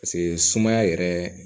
Paseke sumaya yɛrɛ